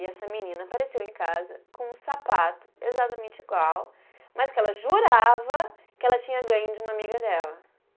E essa menina apareceu em casa com um sapato exatamente igual, mas que ela jurava que ela tinha ganho de uma amiga dela.